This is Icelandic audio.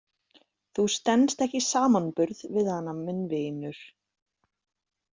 Þú stenst ekki samanburð við hana minn vinur.